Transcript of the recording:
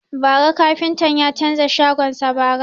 Bara kafintan ya canza shagon sa.